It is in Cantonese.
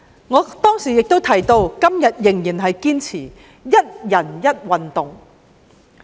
我當年亦提到，直到今天仍然堅持"一人一運動"。